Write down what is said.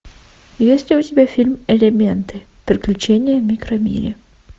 есть ли у тебя фильм элементы приключения в микромире